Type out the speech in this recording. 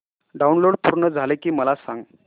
download पूर्ण झालं की मला सांग